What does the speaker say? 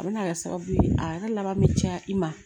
A bɛna kɛ sababu ye a yɛrɛ laban bɛ caya i ma